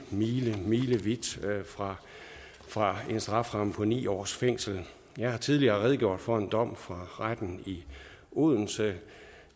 milemilevidt fra fra en strafferamme på ni års fængsel jeg har tidligere redegjort for en dom fra retten i odense